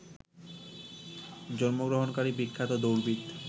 জন্মগ্রহণকারী বিখ্যাত দৌড়বিদ